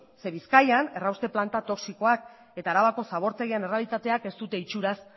zeren bizkaian errauste planta toxikoak eta arabako zabortegian errealitateak ez dute itxuraz